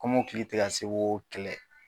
Kɔmɔkili tɛ ka se ko kɛlɛ.